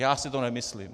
Já si to nemyslím.